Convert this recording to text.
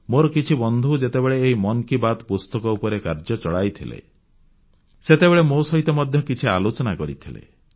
ମୋର କିଛି ବନ୍ଧୁ ଯେତେବେଳେ ଏହି ମନ୍ କି ବାତ୍ ପୁସ୍ତକ ଉପରେ କାର୍ଯ୍ୟ ଚଳାଇଥିଲେ ସେତେବେଳେ ମୋ ସହିତ ମଧ୍ୟ କିଛି ଆଲୋଚନା କରିଥିଲେ